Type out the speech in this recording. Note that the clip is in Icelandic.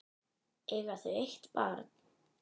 Eiga þau eitt barn.